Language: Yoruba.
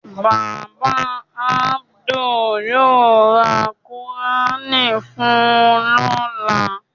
Bàbá Adu yóò ra Kùránì fun lọ́la.